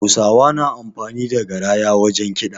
Hausawa na amfani da garaya wajen kiɗa